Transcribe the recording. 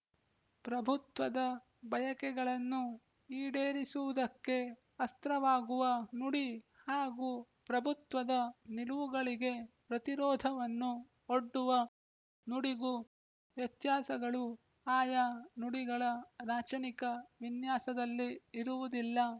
ಪ್ರಭುತ್ವದ ಬಯಕೆಗಳನ್ನು ಈಡೇರಿಸುವುದಕ್ಕೆ ಅಸ್ತ್ರವಾಗುವ ನುಡಿ ಹಾಗೂ ಪ್ರಭುತ್ವದ ನಿಲುವುಗಳಿಗೆ ಪ್ರತಿರೋಧವನ್ನು ಒಡ್ಡುವ ನುಡಿಗೂ ವ್ಯತ್ಯಾಸಗಳು ಆಯಾ ನುಡಿಗಳ ರಾಚನಿಕ ವಿನ್ಯಾಸದಲ್ಲಿ ಇರುವುದಿಲ್ಲ